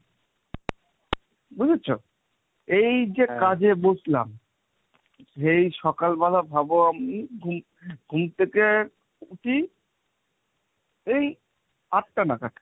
বুঝেছো? এই যে কাজে বসলাম, এই সকালবেলা ভাবো আমি ঘুম থেকে উঠছি এই আটটা নাগাদ।